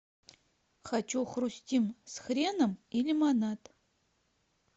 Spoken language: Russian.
хочу хрустим с хреном и лимонад